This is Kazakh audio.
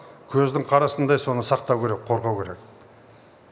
көздің қарасындай соны сақтау керек қорғау керек